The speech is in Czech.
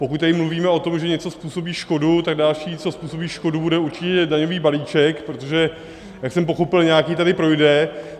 Pokud tady mluvíme o tom, že něco způsobí škodu, tak další, co způsobí škodu, bude určitě daňový balíček, protože jak jsem pochopil, nějaký tady projde.